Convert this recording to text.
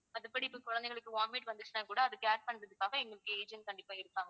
மத்தபடி இப்போ குழந்தைகளுக்கு vomit வந்துச்சுனா கூட அதை care பண்றதுக்காக எங்களுக்கு agent கண்டிப்பா இருப்பாங்க.